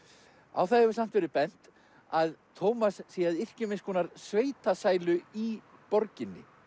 á það hefur samt verið bent að Tómas sé að yrkja um einskonar sveitasælu í borginni